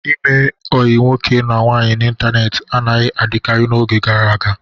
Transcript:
Ime ọyi nwoke na nwaanyị n'ịntanetị anaghị adịkarị n'oge gara aga.